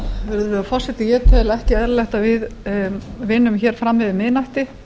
virðulegur forseti ég tel ekki eðlilegt að við vinnum hér fram yfir miðnætti